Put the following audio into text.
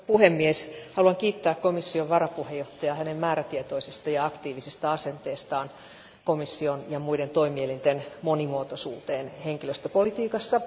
Arvoisa puhemies, haluan kiittää komission varapuheenjohtajaa hänen määrätietoisesta ja aktiivisesta asenteestaan komission ja muiden toimielinten monimuotoisuuteen henkilöstöpolitiikassa.